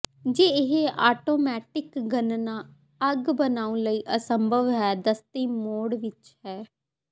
ਜੇ ਇਹ ਆਟੋਮੈਟਿਕ ਗਣਨਾ ਅੱਗ ਬਣਾਉਣ ਲਈ ਅਸੰਭਵ ਹੈ ਦਸਤੀ ਮੋਡ ਵਿੱਚ ਹੈ